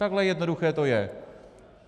Takhle jednoduché to je.